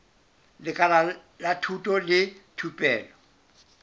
lekala la thuto le thupelo